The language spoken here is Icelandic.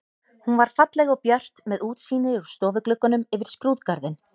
Hún var falleg og björt með útsýni úr stofugluggunum yfir skrúðgarðinn.